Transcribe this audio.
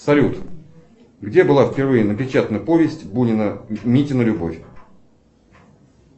салют где была впервые напечатана повесть бунина митина любовь